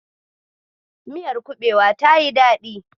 Miyar kuɓewar tayi daɗi.